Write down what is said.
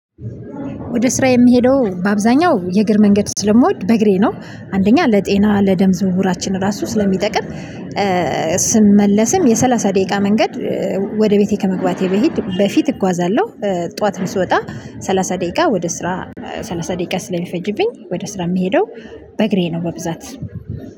ወደ ስራ የምሄደው በአብዛኛው የእግር መንገድ ስለምወድ በእግሬ ነው። አንደኛ ለጤና ለደም ዝውውራችን ራሱ ስለሚጠቅም ስመለስም የሰላሳ ደቂቃ መንገድ ወደ ቤቴ ከመግባቴ በፊት በፊት እጓዛለሁ። ጠዋትም ስወጣ ሰላሳ ደቂቃ ወደ ስራ ሰላሳ ደቂቃ ስለሚፈጅብኝ ወደ ስራ የምሄደው በእግሬ ነው በብዛት።